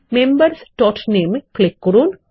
membersনামে click করুন